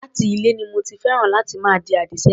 Láti ilè ni mo ti féràn láti máa di àdì sẹ́yìn.